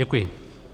Děkuji.